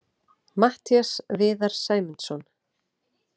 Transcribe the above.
Matthías Viðar Sæmundsson.